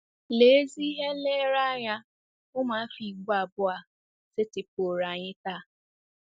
Lee ezi ihe nlereanya ụmụafọ Igbo abụọ a setịpụụrụ anyị taa!